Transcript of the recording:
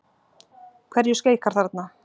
Hverju skeikar þarna?